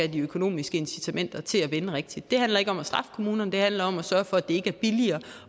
de økonomiske incitamenter til at vende rigtigt det handler ikke om at straffe kommunerne det handler om at sørge for at det ikke er billigere at